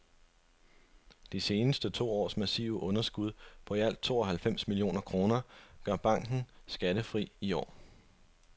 De seneste to års massive underskud på i alt to og halvfems millioner kroner gør banken skattefri i år.